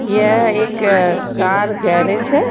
यह एक car garage हैं।